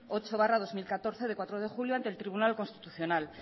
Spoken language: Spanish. ocho barra dos mil catorce de cuatro de julio ante el tribunal constitucional